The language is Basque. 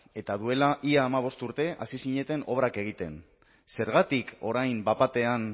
eta duela ia hamabost urte hasi zineten obrak egiten zergatik orain bat batean